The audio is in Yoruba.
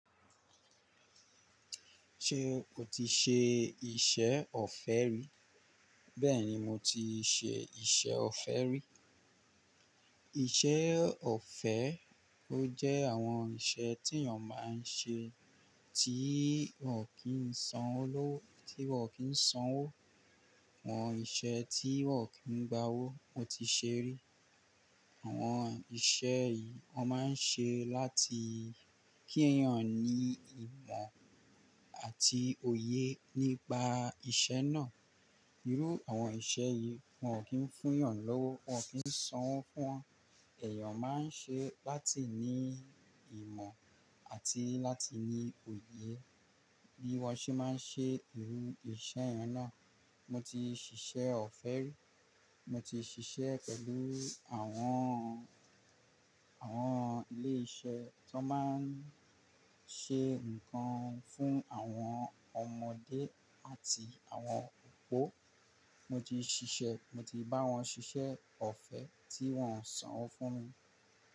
Ṣé o ti ṣe iṣẹ́ ọ̀fẹ́ rí? Bẹ́ẹ̀ni, mo ti ṣe iṣẹ́ ọ̀fẹ́ rí. Iṣẹ́ ọ̀fẹ́ ó jẹ́ àwọn iṣẹ́ tí èèyàn máa ń ṣe tí wọ́n kìí sanwó, àwọn iṣẹ́ tí wọ́n ò kí ń gba owó, mo ti ṣe rí. Àwọn iṣẹ́ yìí wọ́n máa ń ṣe láti kí èèyàn ní ìmọ̀ àti òye nípa iṣẹ́ náà. Irú àwọn iṣẹ́ yìí wọ́n ò kí ń fún èèyàn lówó, wọ́n ò kí ń sanwó fún wọn. Èèyàn máa ń ṣe láti ní ìmọ̀ àti láti ní òye bí wọ́n ṣe máa ń ṣe irú iṣẹ́ yen náà. Mo ti ṣiṣẹ́ ọ̀fẹ́ rí. Mo ti ṣiṣẹ́ pẹ̀lú àwọn, àwọn ilé-iṣẹ́ tó máa ń ṣe nǹkan fún àwọn ọmọdé àti àwọn òpó. Mo ti ṣiṣẹ́, mo ti bá wọn ṣiṣẹ́ ọ̀fẹ́ tí wọ́n ò sanwó fún mi.